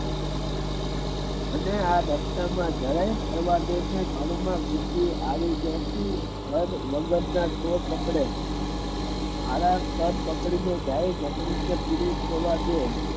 અને આ રસ્તા મા જરા ઘરમાં ઘુસી આવી ત્યાંથી વગરના ચોર પકડે હારા કર પકડી ને જાય અને પૂરી જવા દે